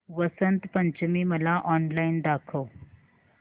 वसंत पंचमी मला ऑनलाइन दाखव